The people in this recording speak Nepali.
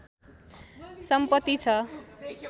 सम्पत्ति छ